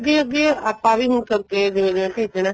ਅੱਗੇ ਅੱਗੇ ਆਪਾਂ ਵੀ ਸਭ ਦੇ ਜਿਵੇਂ ਭੇਜਣਾ